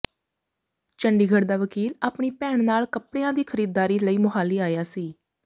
ਚੰਡੀਗੜ੍ਹ ਦਾ ਵਕੀਲ ਆਪਣੀ ਭੈਣ ਨਾਲ ਕੱਪੜਿਆਂ ਦੀ ਖ਼ਰੀਦਦਾਰੀ ਲਈ ਮੁਹਾਲੀ ਆਇਆ ਸੀ